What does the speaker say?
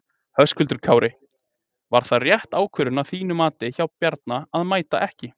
Höskuldur Kári: Var það rétt ákvörðun að þínu mati hjá Bjarna að mæta ekki?